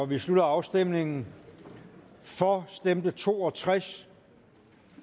vi slutter afstemningen for stemte to og tres